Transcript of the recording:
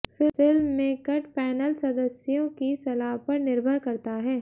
film में cut panel सदस्यों की सलाह पर निर्भर करता है